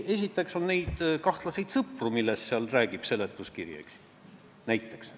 Esiteks meil on kahtlaseid sõpru, millest räägib seletuskiri.